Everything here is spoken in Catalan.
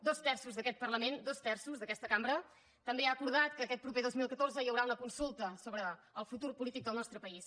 dos terços d’aquest parlament dos terços d’aquesta cambra també han acordat que aquest proper dos mil catorze hi haurà una consulta sobre el futur polític del nostre país